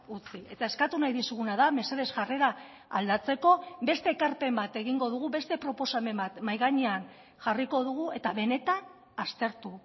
utzi eta eskatu nahi dizuguna da mesedez jarrera aldatzeko beste ekarpen bat egingo dugu beste proposamen bat mahai gainean jarriko dugu eta benetan aztertu